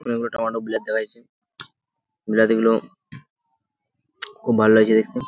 অনেকগুলো টম্যাটো বিলাতি দেখা যাচ্ছে বিলাতি গুলো খুব ভাল লাগছে দেখতে।